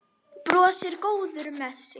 Brosir, góður með sig.